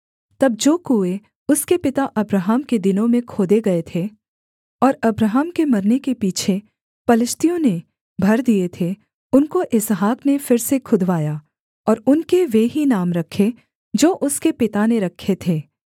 तब जो कुएँ उसके पिता अब्राहम के दिनों में खोदे गए थे और अब्राहम के मरने के पीछे पलिश्तियों ने भर दिए थे उनको इसहाक ने फिर से खुदवाया और उनके वे ही नाम रखे जो उसके पिता ने रखे थे